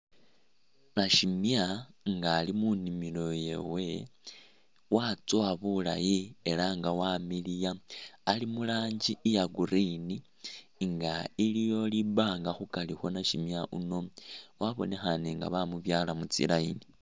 Nashimya nga ali munimilo yewe watsowa bulayi ela nga wamiliya ali mu rangi iya green nga iliwo li banga khukari khwa nashimya yuno wabonekhane nga bamubyala mutsi line.